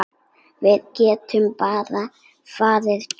Við getum bara farið tvö.